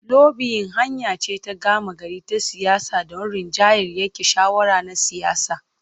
Lobiyin hanya ce ta gama gari ta siyasa don rinjayar yanke shawara na siyasa.